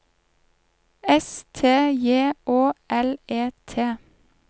S T J Å L E T